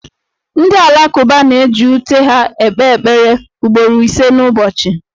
Ndị Alakụba na-eji ute ha kpee ekpere ugboro ise n'ụbọchị.